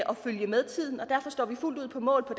følge med tiden og derfor står vi fuldt ud på mål